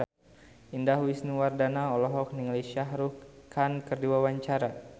Indah Wisnuwardana olohok ningali Shah Rukh Khan keur diwawancara